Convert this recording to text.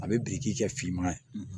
A bɛ biriki kɛ finman